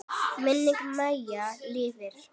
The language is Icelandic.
Minning Maju lifir.